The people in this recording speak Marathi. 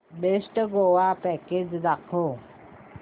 बेस्ट गोवा पॅकेज दाखव